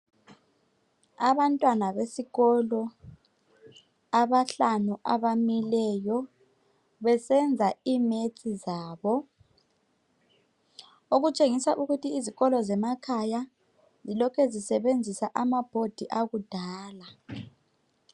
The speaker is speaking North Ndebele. Abantwana besikolo abahlanu abamileyo besenza iMaths zabo. Okutshengisa ukuthi izikolo zemakhaya zilokhe zisebenzisa amaboard akudala.